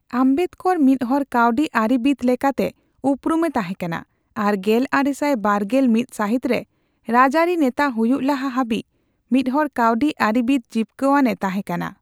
ᱟᱢᱵᱮᱫᱠᱚᱨ ᱢᱤᱫ ᱦᱚᱲ ᱠᱟᱹᱣᱰᱤ ᱟᱹᱨᱤ ᱵᱤᱫ ᱞᱮᱠᱟᱛᱮ ᱩᱯᱨᱩᱢ ᱮ ᱛᱟᱦᱮ ᱠᱟᱱᱟ, ᱟᱨ ᱜᱮᱞᱟᱨᱮᱥᱟᱭ ᱵᱟᱨᱜᱮᱞ ᱢᱤᱛ ᱥᱟᱦᱤᱛ ᱨᱮ ᱨᱟᱡ ᱟᱹᱨᱤ ᱱᱮᱛᱟ ᱦᱩᱭᱩᱜ ᱞᱟᱦᱟ ᱦᱟᱵᱤᱡ ᱢᱤᱫ ᱦᱚᱲ ᱠᱟᱣᱰᱤ ᱟᱹᱨᱤ ᱵᱤᱫ ᱡᱤᱯᱠᱟᱣᱟᱱ ᱮ ᱛᱟᱦᱮ ᱠᱟᱱᱟ ᱾